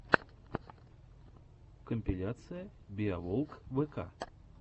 компиляция биоволквк